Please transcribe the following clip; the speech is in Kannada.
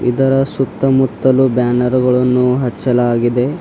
ಇದರ ಸುತ್ತಮುತ್ತಲು ಬ್ಯಾನರ್ ಗಳನ್ನು ಹಚ್ಚಲಾಗಿದೆ.